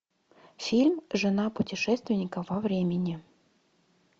фильм жена путешественника во времени